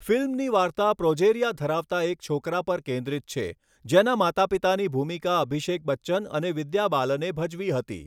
ફિલ્મની વાર્તા પ્રોજેરિયા ધરાવતા એક છોકરા પર કેન્દ્રિત છે, જેના માતાપિતાની ભૂમિકા અભિષેક બચ્ચન અને વિદ્યા બાલને ભજવી હતી.